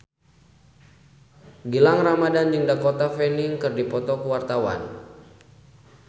Gilang Ramadan jeung Dakota Fanning keur dipoto ku wartawan